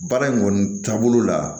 Baara in kɔni taabolo la